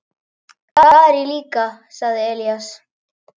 Það er ég líka, sagði Elías.